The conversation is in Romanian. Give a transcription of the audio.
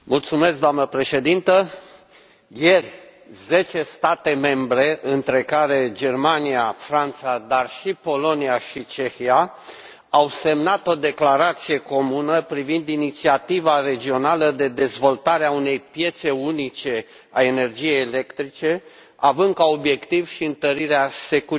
Ieri, zece state membre între care Germania, Franța, dar și Polonia și Cehia au semnat o declarație comună privind inițiativa regională de dezvoltare a unei piețe unice a energiei electrice, având ca obiectiv și întărirea securității.